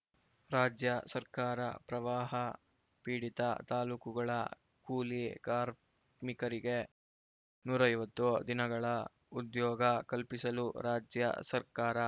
ರಾಜ್ಯ ಸರ್ಕಾರ ಪ್ರವಾಹ ಪೀಡಿತ ತಾಲೂಕುಗಳ ಕೂಲಿ ಕಾರ್ಮಿಕರಿಗೆ ನೂರ ಐವತ್ತು ದಿನಗಳ ಉದ್ಯೋಗ ಕಲ್ಪಿಸಲು ರಾಜ್ಯ ಸರ್ಕಾರ